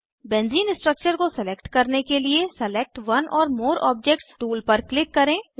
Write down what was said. benzene structure को select करने के लिए select one or more objects tool पर क्लिक करें